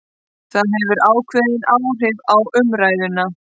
Það hefur ákveðin áhrif á umræðuna